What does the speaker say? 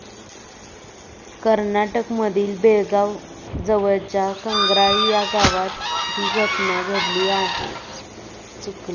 कर्नाटकमधील बेळगाव जवळच्या कंग्राळी या गावात ही घटना घडली आहे.